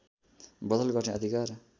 बदल गर्ने अधिकार